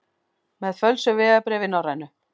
Með fölsuð vegabréf í Norrænu